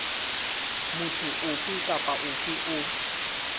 motho ofe kapa ofe o